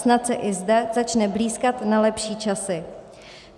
Snad se i zde začne blýskat na lepší časy.